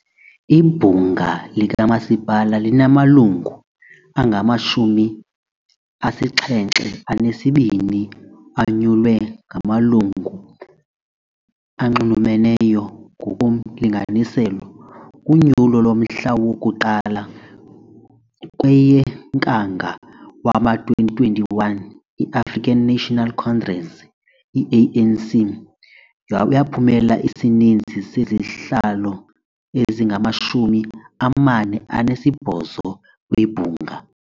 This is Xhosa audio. Ibhunga likamasipala linamalungu angamashumi asixhenxe anesibini anyulwe ngamalungu anxulumeneyo ngokomlinganiselo. Kunyulo lomhla woku1 kweyeNkanga wama2021 i-African National Congress, ANC, yaphumelela isininzi sezihlalo ezingamashumi amane anesibhozo kwibhunga.